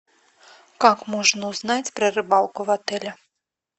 как можно узнать про рыбалку в отеле